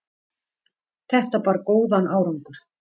Þetta bar góðan árangur.